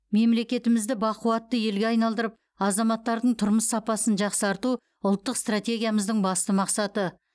мемлекетімізді бақуатты елге айналдырып азаматтардың тұрмыс сапасын жақсарту ұлттық стратегиямыздың басты мақсаты